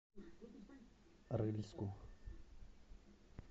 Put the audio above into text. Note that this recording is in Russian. рыльску